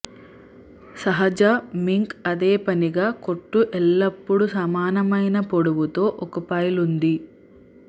సహజ మింక్ అదేపనిగా కొట్టు ఎల్లప్పుడూ సమానమైన పొడవుతో ఒక పైల్ ఉంది